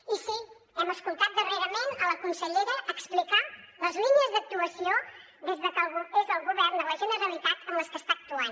i sí hem sentit darrerament la consellera explicar les línies d’actuació des que és al govern de la generalitat en les que està actuant